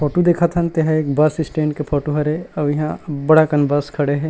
Photo देखत हन तेहा एक बस स्टैंड के फोटू हरे अऊ इहाँ अब्बड़ अकन बस खड़े हे।